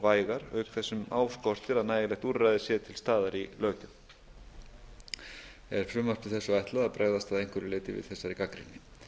vægar auk þess sem á skortir að nægileg úrræði séu til staðar í löggjöf er frumvarpi þessu ætlað að bregðast að einhverju leyti við þessari gagnrýni